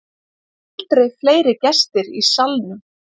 Aldrei fleiri gestir í Salnum